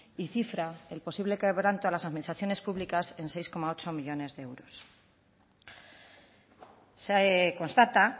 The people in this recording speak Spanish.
y cifra el posible quebranto a las administraciones públicas en seis coma ocho millónes de euros se constata